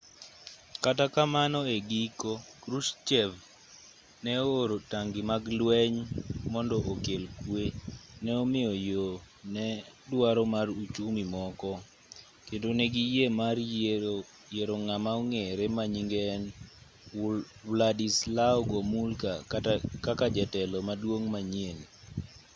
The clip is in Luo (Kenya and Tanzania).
kata kamano e giko krushchev ne o-oro tangi mag lweny mond okel kwe ne omiyo yo ne dwaro mar uchumi moko kendo negiyie mar yiero ng'ama ong'ere manyinge en wladyslaw gomulka kaka jatelo maduong' manyien